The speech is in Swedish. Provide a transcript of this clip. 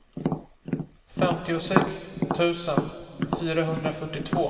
femtiosex tusen fyrahundrafyrtiotvå